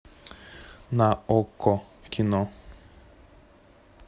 на окко кино